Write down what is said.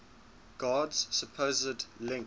god's supposed link